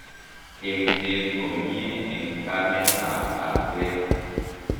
Eng'seet komiee eng' kameet ak lakweet